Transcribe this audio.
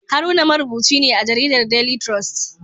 Haruna marubuci ne a jaridar Daily Trust